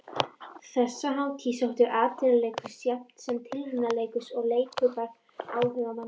Þessa hátíð sóttu atvinnuleikhús jafnt sem tilraunaleikhús og leikhópar áhugamanna.